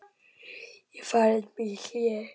Ég færði mig í hléi.